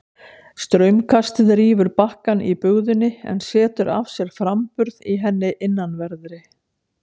Straumkastið rýfur bakkann í bugðunni en setur af sér framburð í henni innanverðri.